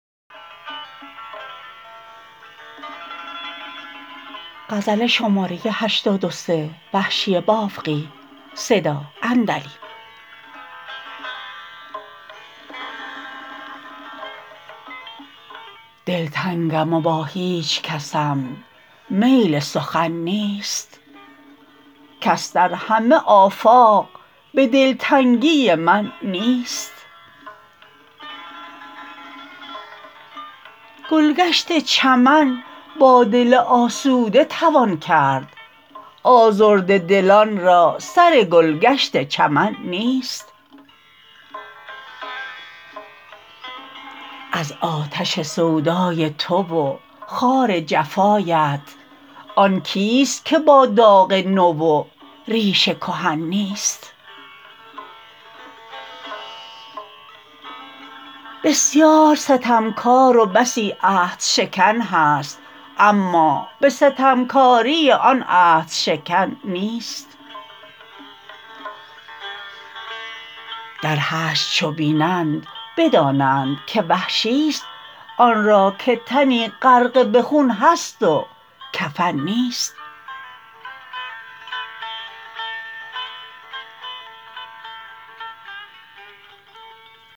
دلتنگم و با هیچکسم میل سخن نیست کس در همه آفاق به دلتنگی من نیست گلگشت چمن با دل آسوده توان کرد آزرده دلان را سر گلگشت چمن نیست از آتش سودای تو و خار جفایت آن کیست که با داغ نو و ریش کهن نیست بسیار ستمکار و بسی عهد شکن هست اما به ستمکاری آن عهدشکن نیست در حشر چو بینند بدانند که وحشیست آنرا که تنی غرقه به خون هست و کفن نیست